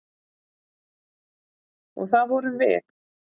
Og það vorum við.